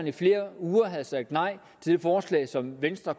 i flere uger havde sagt nej til det forslag som venstre